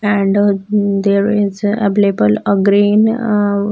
And there is available a green a --